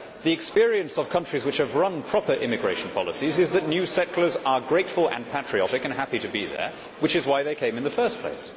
The experience of countries which have run proper immigration policies is that new settlers are grateful and patriotic and happy to be there, which is why they came in the first place.